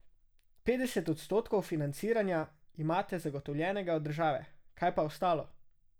Petdeset odstotkov financiranja imate zagotovljenega od države, kaj pa ostalo?